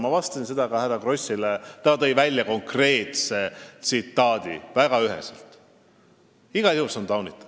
Ma vastasin väga üheselt ka härra Krossile, kes tõi välja konkreetse tsitaadi, et see on igal juhul taunitav.